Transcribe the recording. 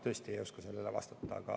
Ma tõesti ei oska sellele vastata.